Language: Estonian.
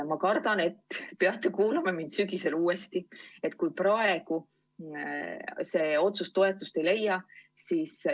Ma kardan, et peate kuulama mind sügisel uuesti, kui praegu see otsus toetust ei leia.